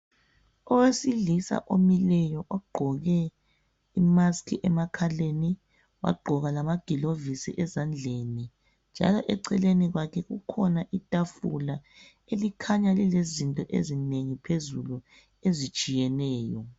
Owesilisa omileyo egqoka imasiki emakhaleni, wagqoka oma gilovisi ezandleni. Njalo eceleni kwakhe kukhona itafula elikhanya lilezinto ezinengi phezulu ezitshiyeneyo.